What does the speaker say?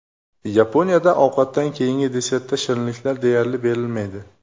Yaponiyada ovqatdan keyingi desertda shirinliklar deyarli berilmaydi.